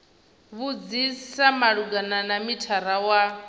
vhudzisa malugana na mithara wa